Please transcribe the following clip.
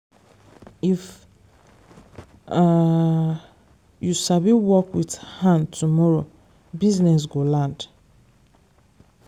if um you sabi work with hand tomorrow business go land.